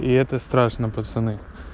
и это страшно пацаны